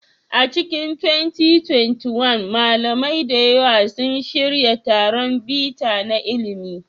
A cikin 2021, malamai da yawa sun shirya taron bita na ilimi.